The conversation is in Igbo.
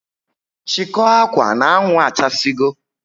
Chikoo akwa n' anwụ achasi go